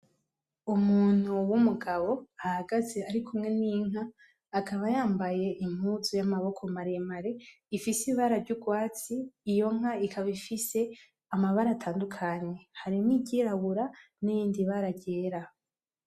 Umuntu w'umugabo ahagaze arikumwe n'inka, akaba yambaye impuzu y'amaboko maremare ifise ibara ry'urwatsi, iyo nka ikaba ifise amabara atandukanye, harimwo iryirabura n'irindi bara ryera.